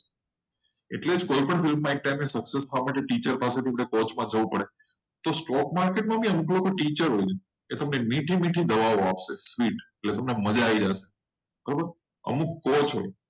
એટલે કોઈ બી field માં ટીચર કરતા ઓછી જોઈએ અને stoke market માં પણ અમુક લોકો ટીચર હોય મીઠી મીઠી દવાઓ આપશે. એટલે તમને મજા આવી જશે બરોબર અમુક coach હોય.